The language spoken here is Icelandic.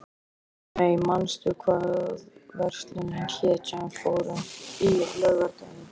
Eldmey, manstu hvað verslunin hét sem við fórum í á laugardaginn?